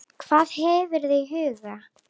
Hvað hefur þú í huga?